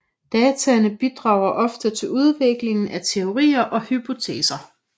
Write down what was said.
Dataene bidrager ofte til udvikling af teorier og hypoteser